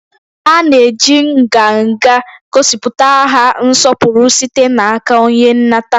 A na-eji nganga gosipụta aha nsọpụrụ site n'aka onye nnata